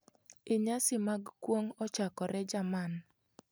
Inyasi mag kuong' ochakore jerman.